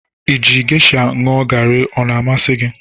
Iji geisha ñụọ gari ọ na-amasị gị?